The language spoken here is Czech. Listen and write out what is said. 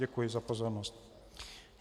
Děkuji za pozornost.